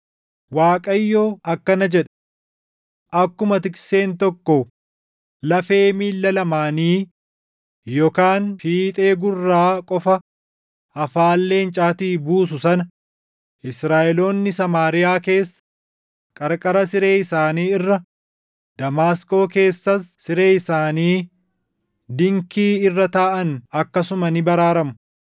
Waaqayyo akkana jedha: “Akkuma tikseen tokko lafee miilla lamaanii yookaan fiixee gurraa qofa afaan leencaatii buusu sana, Israaʼeloonni Samaariyaa keessa, qarqara siree isaanii irra, Damaasqoo keessas siree isaanii dinkii irra taaʼan akkasuma ni baraaramu.”